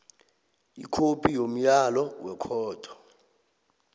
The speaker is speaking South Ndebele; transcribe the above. ikhophi yomyalo wekhotho